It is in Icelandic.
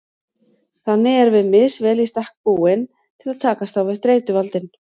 Þannig erum við misvel í stakk búin til að takast á við streituvaldinn.